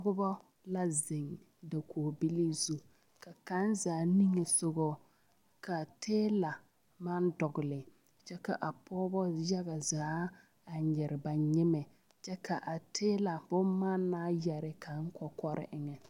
Noba la zeŋ dakogibilii zu ka kaŋ zaa niŋesogɔ ka tiila maŋ dɔgle kyɛ k,a pɔgeba yaga zaa a nyere ba nyemɛ ka a tiila bonemannaa yɛre kaŋ kɔkɔre eŋɛ.